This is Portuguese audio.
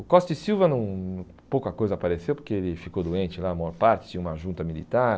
O Costa e Silva não, pouca coisa apareceu, porque ele ficou doente lá, a maior parte, tinha uma junta militar.